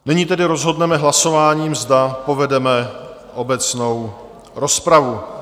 Nyní tedy rozhodneme hlasováním, zda povedeme obecnou rozpravu.